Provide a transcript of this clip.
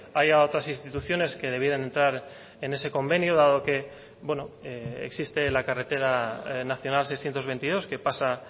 haya otras instituciones que debieran entrar en ese convenio dado que existe la carretera nacional seiscientos veintidós que pasa